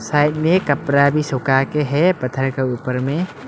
Side में कपरा भी सुकाके है पत्थर के ऊपर में।